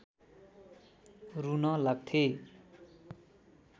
रुन लाग्थे